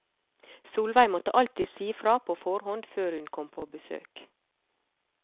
Solveig måtte alltid si fra på forhånd før hun kom på besøk.